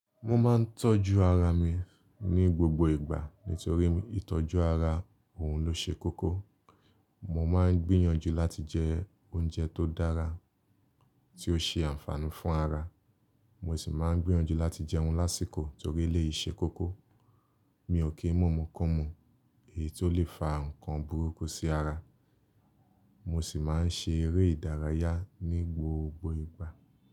Mo máa ń tọ́jú ara mi ní gbogbo ìgbà torí ìtọ́jú ara òun ló ṣe kókó. Mo máa ń gbìyànjú láti jẹ oúnjẹ tó dára, tí ó ṣe ànfààní fún ara. Mo sì máa ń gbìyànjú láti jẹun lásìkò torí eléyìí ṣe kókó. Mi ò kí ń mú ìmukúmu èyí tó lè fa ǹkan burúkú sí ara. Mo sì máa ń ṣe eré ìdárayá ní gbogbo ìgbà.